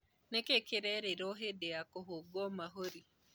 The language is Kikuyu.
Nĩkĩĩ kĩerirwo hĩndĩ ya kũhũngwo mahũri